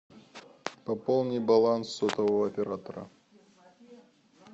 пополни баланс сотового оператора